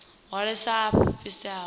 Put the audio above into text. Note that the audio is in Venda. hwalesaho a a fhisesa a